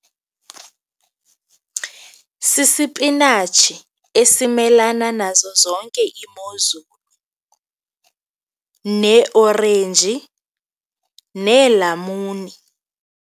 Sisipinatshi esimelana nazo zonke iimozulu neeorenji, neelamuni.